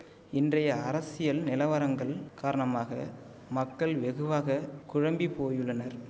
இன்றைய அரசியல் நிலவரங்கள் காரணமாக மக்கள் வெகுவாக குழம்பி போயுள்ளனர்